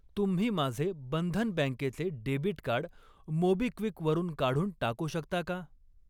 तुम्ही माझे बंधन बँकेचे डेबिट कार्ड मोबिक्विक वरून काढून टाकू शकता का?